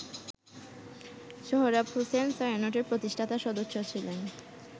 সোহরাব হোসেন ছায়ানটের প্রতিষ্ঠাতা সদস্য ছিলেন।